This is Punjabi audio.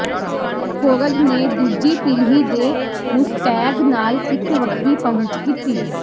ਫੋਰਡ ਨੇ ਦੂਜੀ ਪੀੜ੍ਹੀ ਦੇ ਮੁਸਤੈਗ ਨਾਲ ਇੱਕ ਵੱਖਰੀ ਪਹੁੰਚ ਕੀਤੀ